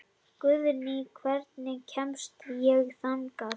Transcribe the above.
Guðný, hvernig kemst ég þangað?